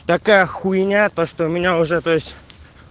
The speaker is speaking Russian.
такая хуйня то что у меня уже то есть